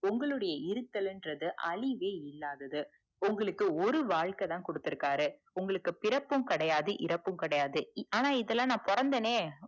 உங்களுடைய இருத்தல்ங்குறது அழிவே இல்லாதது உங்களுக்கு ஒரு வாழ்க்கைதான் குடுத்துருக்காரு உங்களுக்கு பிறப்பும் இறப்பும் கெடையாது பிறப்பும் கெடையாது ஆண இதன பொறந்தனே